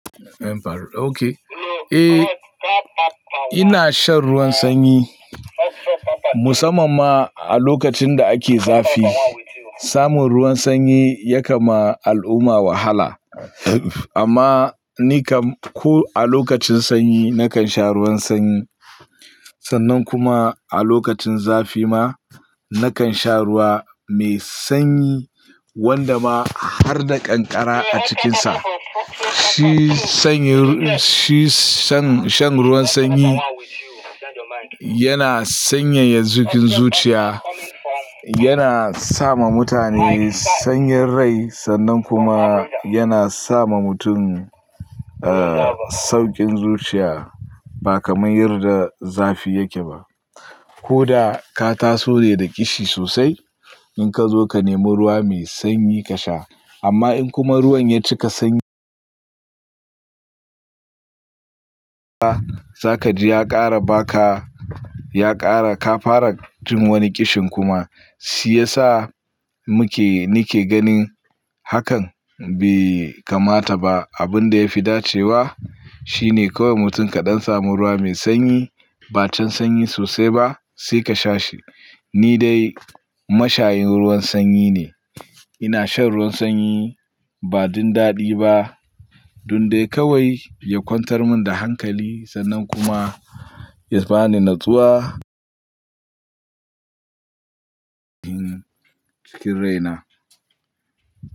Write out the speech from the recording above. Eh, ina shan ruwan sanyi musamman ma a lokacin da ake zafi. Samun ruwan sanyi ya kam ma al'umma wahala amma ni kam ko a lokacin sanyi nakan sha ruwan sanyi sannan kuma a lokacin zafi ma nakan sha ruwa mai sanyi wanda ma har da kankara a cikinsa. Shi sanyi, shi shan, shan ruwan sanyi yana sanyaya cikin zuciya, yana sa ma mutane sanyin rai sannan kuma yana sa ma mutum, eh, sauƙin zuciya ba kamar yarda zafi yake ba. Ko da ka taso ne da ƙishi sosai in ka zo ka nemi ruwa mai sanyi ka sha amma in kuma ruwan ya cika sanyi, za kaji ya ƙara baka, ya ƙara kafara jin wani ƙishin kuma shi yasa muke, nike ganin hakan bai kamata ba. Abin da ya fi dacewa shi ne kawai mutum kaɗan samun ruwa mai sanyi, ba can sanyi sosai ba sai ka sha shi. Ni dai mashayin ruwan sanyi ne. Ina shan ruwan sanyi ba don daɗi ba don dai kawai ya kwantar mun da hankali sannan kuma ya bani natsuwa cikin rai na.